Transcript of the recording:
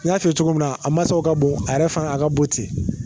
N y'a fɛ cogo min a mansaw ka bon a yɛrɛ fana a ka bon ten